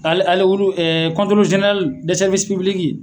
Ale ale olu ɛ kɔntoroli zenerali dɛ sɛriwisi pibiliki